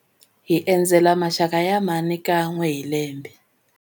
Hi endzela maxaka ya mhani kan'we hi lembe.